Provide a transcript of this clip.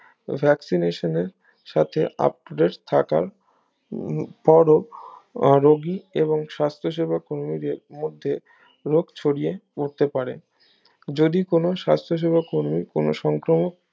ভ্যাকসিনেশনের সাথে up-to-date থাকার উম পরেও আহ রুগী এবং সাস্থসেবক কর্মীদের মধ্যে রোগ ছড়িয়ে পড়তে পারে যদি কোনো সাস্থসেবক কর্মী কোনো সংক্রমক